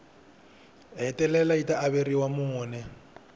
hetelela yi ta averiwa mune